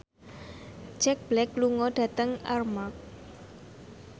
Jack Black lunga dhateng Armargh